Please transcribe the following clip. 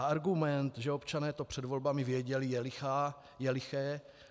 A argument, že občané to před volbami věděli, je lichý.